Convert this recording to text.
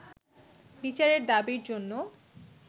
বিচারের দাবির জন্য